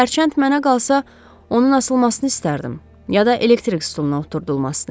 Hərçənd mənə qalsa, onun asılmasını istərdim, ya da elektrik stuluna oturdulmasını.